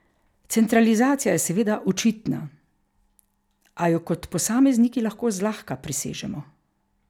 Centralizacija je seveda očitna, a jo kot posamezniki lahko zlahka presežemo.